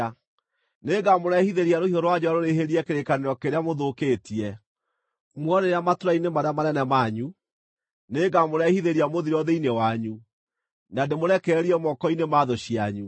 Nĩngamũrehithĩria rũhiũ rwa njora rũrĩhĩrie kĩrĩkanĩro kĩrĩa mũthũkĩtie. Muorĩra matũũra-inĩ marĩa manene manyu, nĩngamũrehithĩria mũthiro thĩinĩ wanyu, na ndĩmũrekererie moko-inĩ ma thũ cianyu.